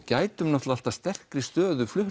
gætum sterkri stöðu